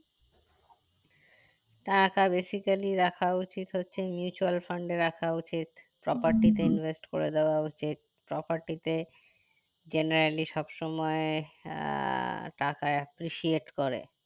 টাকা basically রাখা উচিত হচ্ছে mutual fund এ রাখা উচিত property তে invest করে দেওয়া উচিত property তে generally সব সময় আহ টাকা appreciate করে